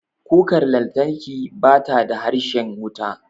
Kukar lantarki bata da harshen wuta.